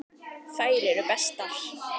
Þær eru bestar.